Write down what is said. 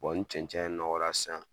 ni cɛncɛn nɔgɔ la sisan